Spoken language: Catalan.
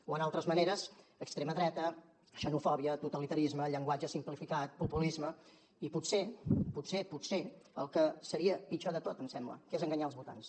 o en altres maneres extrema dreta xenofòbia totalitarisme llen·guatge simplificat populisme i potser potser potser el que seria pitjor de tot em sembla que és enganyar els votants